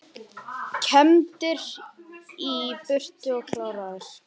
Kembdir í burtu og kláraðir